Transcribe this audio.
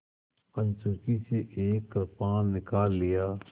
कंचुकी से एक कृपाण निकाल लिया